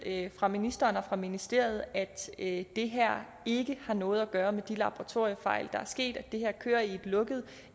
fra ministeren og fra ministeriet at det her ikke har noget at gøre med de laboratoriefejl der er sket det her kører i et lukket